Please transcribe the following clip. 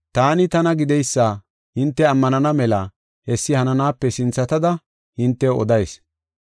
‘Taani Tana Gideysa’ hinte ammanana mela hessi hananaape sinthatada hintew odayis.